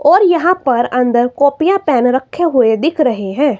और यहां पर अंदर कॉपियां पेन रखे हुए दिख रहे हैं।